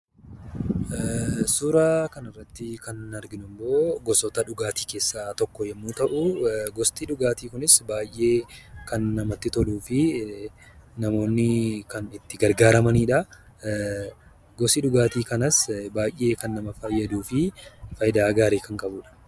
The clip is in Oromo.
Suuraa kanaa gadii irraa kan mul'atu gosoota dhugaatii keessaa tokko kan ta'e yammuu ta'uu; gosti dhugaatii kunis kan namatti toluu fi namoonni itti gargaaramanii dha. Gosti dhugaatii kunis kan nama fayyaduu dha.